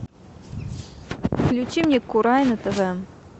включи мне курай на тв